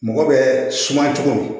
Mɔgɔ bɛ suma cogo